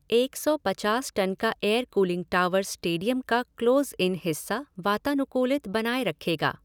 एक सौ पचास टन का एयर कूलिंग टॉवर स्टेडियम का क्लोज़ ईन हिस्सा वातानुकूलित बनाए रखेगा।